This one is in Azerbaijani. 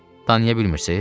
Danışa bilmirsiz?